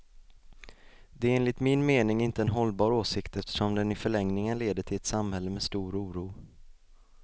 Det är enligt min mening inte en hållbar åsikt, eftersom den i förlängningen leder till ett samhälle med stor oro.